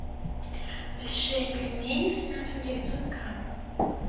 большие пельмени с мясом девятьсот грамм